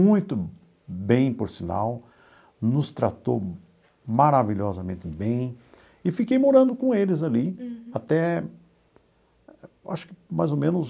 Muito bem, por sinal, nos tratou maravilhosamente bem e fiquei morando com eles ali até, acho que, mais ou menos,